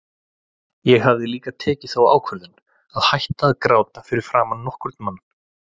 Ég hafði líka tekið þá ákvörðun að hætta að gráta fyrir framan nokkurn mann.